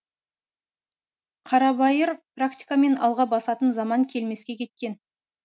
қарабайыр практикамен алға басатын заман келмеске кеткен